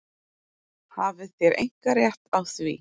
Hafið þér einkarétt á því?